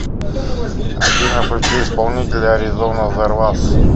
афина включи исполнителя аризона зервас